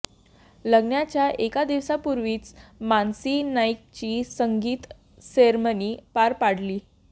लग्नाच्या एक दिवसापूर्वीच मानसी नाईकची संगीत सेरमनी पार पाडली